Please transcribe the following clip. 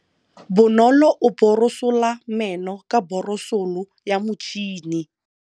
Bonolô o borosola meno ka borosolo ya motšhine.